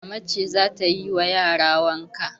Mama ce za ta yi ma yara wanka.